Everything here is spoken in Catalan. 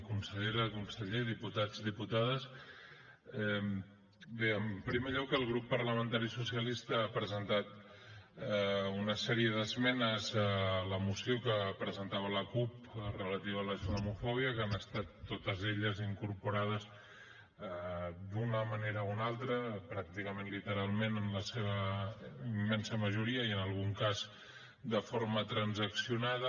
consellera conseller diputats i diputades bé en primer lloc el grup parlamentari socialista ha presentat una sèrie d’esmenes a la moció que presentava la cup relativa a la islamofòbia que han estat totes elles incorporades d’una manera o una altra pràcticament literalment en la seva immensa majoria i en algun cas de forma transaccionada